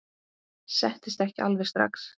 Settist ekki alveg strax.